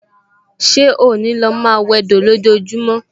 Ṣé ó ní lò máa wẹdò lójojúmọ́?